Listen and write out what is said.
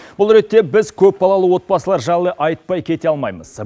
бұл ретте біз көпбалалы отбасылар жайлы айтпай кете алмаймыз